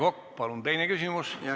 Aivar Kokk, palun teine küsimus!